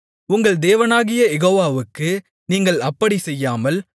உங்கள் தேவனாகிய யெகோவாவுக்கு நீங்கள் அப்படிச் செய்யாமல்